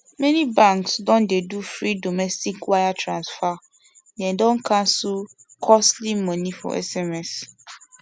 many banks don dey do free domestic wire transfer them don cancel costly money for sms